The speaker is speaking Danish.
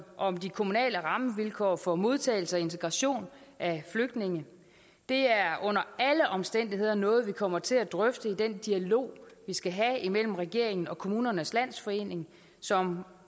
om de kommunale rammevilkår for modtagelse og integration af flygtninge det er under alle omstændigheder noget vi kommer til at drøfte i den dialog vi skal have imellem regeringen og kommunernes landsforening som